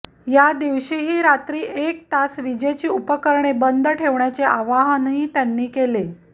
या दिवशीही रात्री एक तास विजेची उपकरणे बंद ठेवण्याचे आवाहनही त्यांनी केले